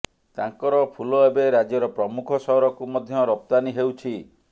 ତାଙ୍କର ଫୁଲ ଏବେ ରାଜ୍ୟର ପ୍ରମୁଖ ସହରକୁ ମଧ୍ୟ ରପ୍ତାନୀ ହେଉଛି